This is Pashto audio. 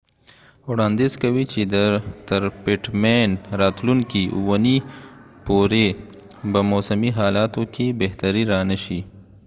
پټ مین pittman وړانديز کوي چې تر راتلونکې اوونی پورې به موسمی حالاتو کې بهتری را نشي